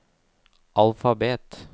alfabet